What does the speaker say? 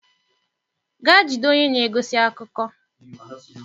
Gaa jide onye na-egosi akụkọ.